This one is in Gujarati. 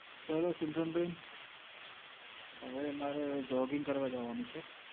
ચાલો સિમરન બેન, હવે મારે jogging કરવાં જવાનું છે.